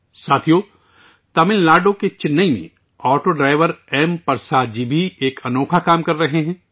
دوستو، چنئی، تمل ناڈو میں auto driver M Rajendra Prasad ji بھی انوکھا کام کر رہے ہیں